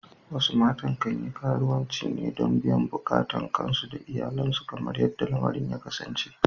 Wasu matan kan yi karuwanci ne don biyan bukatun kansu da iyalansu kamar yadda lamarin ya kasance.